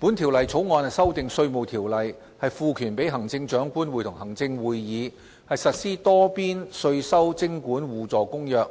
《條例草案》修訂《稅務條例》，賦權行政長官會同行政會議實施《多邊稅收徵管互助公約》